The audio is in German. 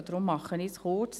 Deswegen mache ich es kurz.